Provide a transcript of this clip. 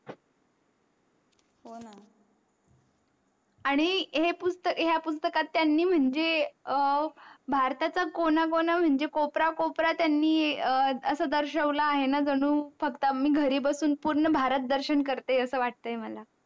आणि हो पुस्तक ह्या पुस्तकत त्यांनी म्हणजे अं भारताचा कोना कोण म्हणजे कोपरा कोपरा त्यांनी अं अस दर्शवल आहे न जणू फक्त आम्ही घरी बसून पूर्ण भारत दर्शन करते आस वाटे मला